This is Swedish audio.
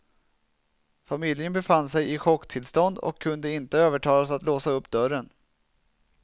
Familjen befann sig i chocktillstånd och kunde inte övertalas att låsa upp dörren.